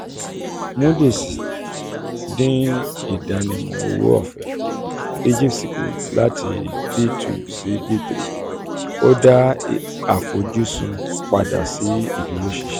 moody's um dín ìdánimọ̀ owó-ọ̀fẹ́ egypt's kù láti b two sí b three um ó dá àfojúsùn padà sí ìdúróṣinṣin um